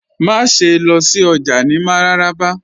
Màṣẹ̀ lọ sí ọjà ni Mararaba